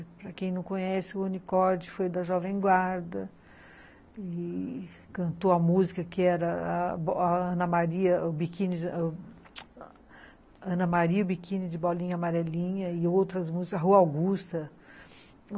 Para quem não conhece, o Rony Corde foi da Jovem Guarda e cantou a música que era Ana Maria, o Biquíni de Bolinha Amarelinha, e outras músicas, a Rua Augusta.